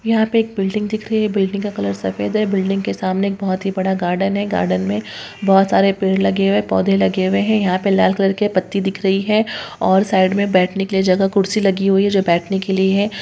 यहां पे एक बिल्डिंग दिख रही है बिल्डिंग का कलर सफेद है बिल्डिंग के सामने एक बहुत ही बड़ा गार्डन है गार्डन में बहुत सारे पेड़ लगे हुए है पौधे लगे हुए है यहां पे लाल कलर के पत्ती दिख रही है और साइड में बैठने के लिए जगह कुर्सी लगी हुई है जो बैठने के लिए है।